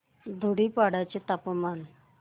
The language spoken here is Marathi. धुडीपाडा चे तापमान